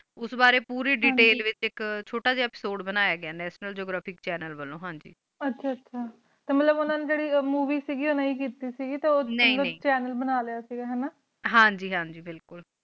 ਉਸ ਬਰੀ ਪੂਰੀ ਦੇਤੈਲ ਵਿਚ ਇਕ ਛੋਟਾ ਜੀਆ ਏਪਿਸੋਦੇ ਬਨਯ ਗਿਆ ਆ ਨਤਿਓਨਲ ਜੇਓਗ੍ਫਾਰਿਕ ਚੈਨਲ ਵਾਲੋ ਹਨ ਜੀ ਆਚਾ ਆਚਾ ਕ ਮਤਲਬ ਓਨਾ ਨੀ ਜੇਰੀ ਨਾਈ ਕੀਤੀ ਕ ਗੀ ਟੀ ਓ ਨਾਈ ਨਾਈ ਅਲਗ ਚੈਨਲ ਬਣਾ ਲਿਆ ਕ ਗਾ ਹਨਾ ਹਾਂਜੀ ਹਾਂਜੀ ਬਿਲਕੁਲ